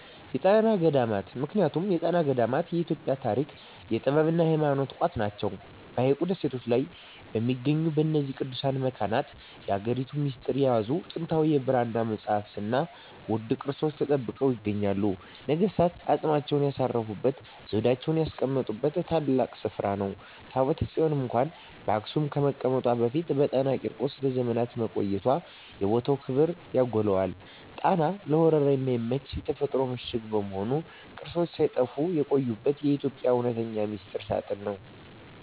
የጣና ገዳማት ምክንያቱም የጣና ገዳማት የኢትዮጵያ የታሪክ፣ የጥበብና የሃይማኖት ቋት ናቸው። በሐይቁ ደሴቶች ላይ በሚገኙት በእነዚህ ቅዱሳት መካናት፣ የሀገሪቱን ሚስጥር የያዙ ጥንታዊ የብራና መጻሕፍትና ውድ ቅርሶች ተጠብቀው ይገኛሉ። ነገሥታት አፅማቸውን ያሳረፉበትና ዘውዳቸውን ያስቀመጡበት ታላቅ ስፍራ ነው። ታቦተ ጽዮን እንኳን በአክሱም ከመቀመጧ በፊት በጣና ቂርቆስ ለዘመናት መቆየቷ የቦታውን ክብር ያጎላዋል። ጣና ለወረራ የማይመች የተፈጥሮ ምሽግ በመሆኑ፣ ቅርሶች ሳይጠፉ የቆዩበት የኢትዮጵያ እውነተኛ ሚስጥር ሳጥን ነው።